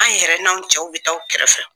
An yɛrɛ n'anw cɛw bɛ taa aw kɛrɛfɛ.